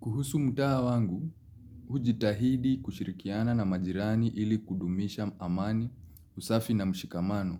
Kuhusu mtaa wangu, hujitahidi kushirikiana na majirani ili kudumisha amani, usafi na mshikamano.